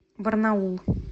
барнаул